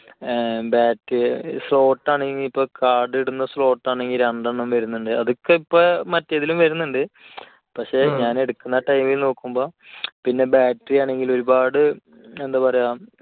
ഏർ card slot ആണെങ്കിൽ ഇപ്പോൾ card ഇടുന്ന slot ആണെങ്കിൽ രണ്ടെണ്ണം വരുന്നുണ്ട്. അതൊക്കെ ഇപ്പോൾ മറ്റേതെങ്കിലും വരുന്നുണ്ട്. പക്ഷേ ഞാൻ എടുക്കുന്ന ആ time ൽ നോക്കുമ്പോൾ, പിന്നെ battery ആണെങ്കിൽ ഒരുപാട് എന്താ പറയുക